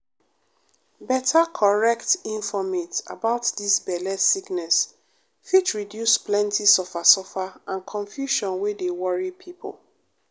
better correct infomate about dis belle sickness fit reduce plenty suffer suffer and confusion wey dey worry pipo.